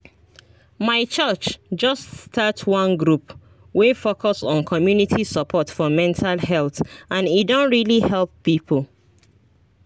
my church just start one group wey focus on community support for mental health and e don really help people